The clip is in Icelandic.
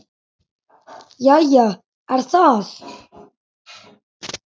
Jæja er það.